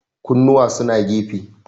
kunnuwa suna gefe